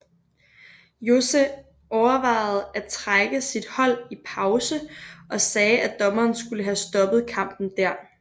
José overvejede at trække sit hold i pause og sagde at dommeren skulle have stoppet kampen der